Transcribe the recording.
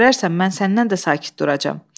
İndi görərsən mən səndən də sakit duracam.